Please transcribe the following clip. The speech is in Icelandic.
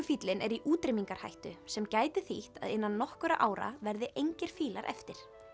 afríkufíllinn er í útrýmingarhættu sem gæti þýtt að innan nokkurra ára verði engir fílar eftir